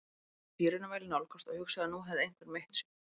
Þá heyrði ég sírenuvæl nálgast og hugsaði að nú hefði einhver meitt sig.